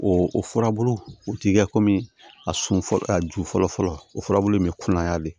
O o furabulu o ti kɛ a sun fɔlɔ a ju fɔlɔ fɔlɔ o furabulu in be kuŋaya de